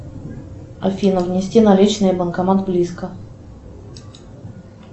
афина внести наличные банкомат близко